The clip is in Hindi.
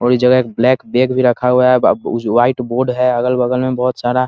और इस जगह एक ब्लैक बैग भी रखा हुआ है व्हाइट बोर्ड है अगल-बगल में बहोत सारा ।